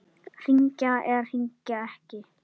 Hringja eða hringja ekki?